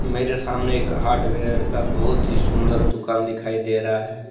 मेरे सामने एक हार्डवेयर का बहुत ही सुंदर दुकान दिखाई दे रहा है।